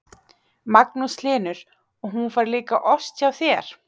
Magnús Hlynur: Og hún fær líka ost hjá þér?